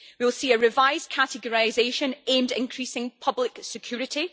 We will see a revised categorisation aimed at increasing public security.